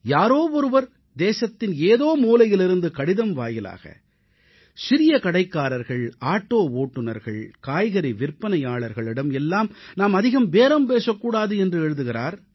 யாரோ ஒருவர் தேசத்தின் ஏதோ மூலையிலிருந்து கடிதம் வாயிலாக சிறிய கடைக்காரர்கள் ஆட்டோ ஓட்டுநர்கள் காய்கறி விற்பனையாளர்களிடம் எல்லாம் நாம் அதிகம் பேரம் பேசக் கூடாது என்று எழுதுகிறார்